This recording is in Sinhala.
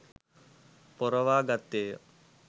පොරවා ගත්තේ ය.